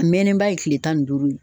A mɛnnen ba ye kile tan ni duuru ye